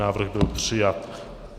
Návrh byl přijat.